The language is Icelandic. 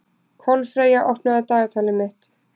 Kolfreyja, opnaðu dagatalið mitt.